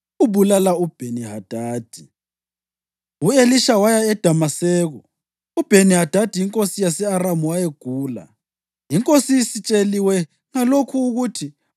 U-Elisha waya eDamaseko, uBheni-Hadadi inkosi yase-Aramu wayegula. Inkosi isitsheliwe ngalokho ukuthi,